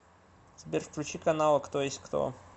сбер включи каналы кто есть кто